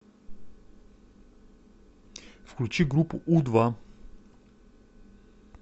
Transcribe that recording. включи группу у два